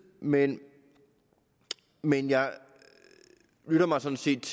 men men jeg lytter mig sådan set